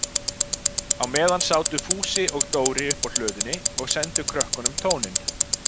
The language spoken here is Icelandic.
Á meðan sátu Fúsi og Dóri uppi á hlöðunni og sendu krökkunum tóninn.